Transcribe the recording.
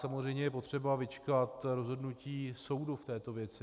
Samozřejmě je potřeba vyčkat rozhodnutí soudu v této věci.